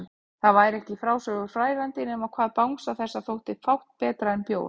Það væri ekki í frásögur færandi nema hvað bangsa þessum þótti fátt betra en bjór!